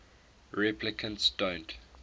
replicants don't